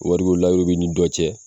Wari ko layiuru bi ni dɔ cɛ